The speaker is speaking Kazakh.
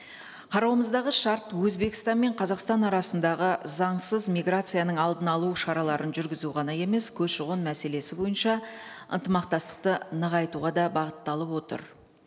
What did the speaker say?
қарауымыздағы шарт өзбекстан мен қазақстан арасындағы заңсыз миграцияның алдын алу шараларын жүргізу ғана емес көші қон мәселесі бойынша ынтымақтастықты нығайтуға да бағытталып отыр